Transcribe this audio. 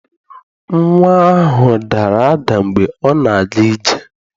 Nnwa ahụ dara ada mgbe ọ na-aga ije.